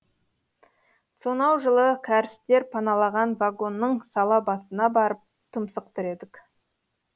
сонау жылы кәрістер паналаған вагонның салабасына барып тұмсық тіредік